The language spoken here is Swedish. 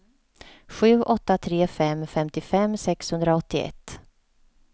sju åtta tre fem femtiofem sexhundraåttioett